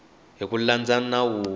hi ku landza nawu wo